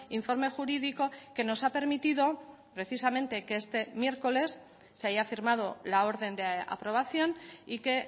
informe jurídico que nos ha permitido precisamente que este miércoles se haya firmado la orden de aprobación y que